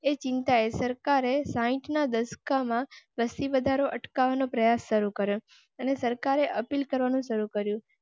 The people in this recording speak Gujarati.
એ ચિંતાએ સરકારે સાઇટ ના દશકા માં વસતી વધારો અટકાવવા નો પ્રયાસ શરૂ કરો. અને સરકારે અપીલ કરવા નું શરૂ કરો.